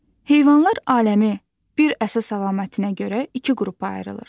Heyvanlar aləmi bir əsas əlamətinə görə iki qrupa ayrılır.